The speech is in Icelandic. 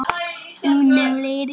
Þetta upphaf lýsir Siggu vel.